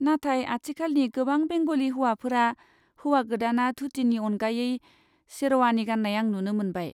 नाथाय आथिखालनि गोबां बेंग'लि हाबाफोराव हौवा गोदाना धुतिनि अनगायै शेरवानि गान्नाय आं नुनो मोनबाय।